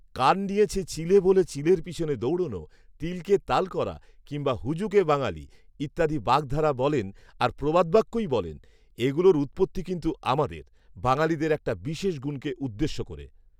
কান নিয়েছে চিলে, বলে চিলের পেছনে দৌড়ানো; তিলকে তাল করা কিংবা হুজুগে বাঙালি, ইত্যাদি বাগধারা বলেন আর প্রবাদবাক্যই বলেন, এগুলোর উৎপত্তি কিন্তু আমাদের, বাঙালিদের একটা বিশেষ গুনকে উদ্দেশ্য করে